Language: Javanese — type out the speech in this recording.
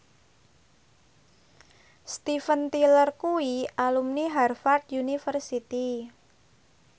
Steven Tyler kuwi alumni Harvard university